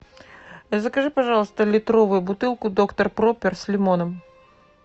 закажи пожалуйста литровую бутылку доктор пропер с лимоном